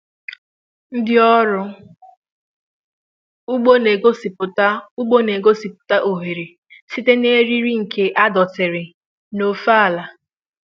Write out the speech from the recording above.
Ndị ọrụ ugbo n'egosiputa ugbo n'egosiputa oghere site n'iji eriri nke adọtiri n'ofe àlà